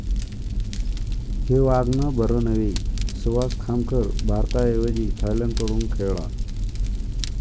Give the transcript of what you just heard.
हे वागणं बरं नव्हे!, सुहास खामकर भारताऐवजी थायलंडकडून खेळला